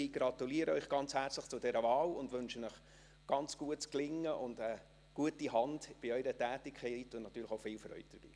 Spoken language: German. Ich gratuliere Ihnen herzlich zu dieser Wahl und wünsche Ihnen gutes Gelingen und eine gute Hand bei Ihrer Tätigkeit, und natürlich auch viel Freude dabei.